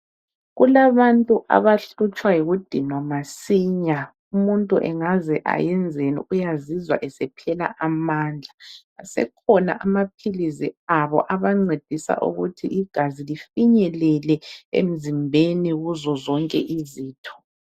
Kulabantu abahlutshwa yikudinwa masinya. Umuntu engaze ayenzeni, uyazizwa esephela amandla. Asekhona amaphilisi abo abancedisa ukuthi igazi lifinyelele emzimbeni kuzozonke izitho.